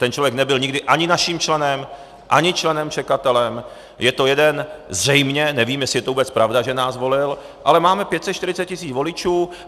Ten člověk nebyl nikdy ani naším členem, ani členem čekatelem, je to jeden... zřejmě, nevím, jestli je to vůbec pravda, že nás volil, ale máme 540 tisíc voličů.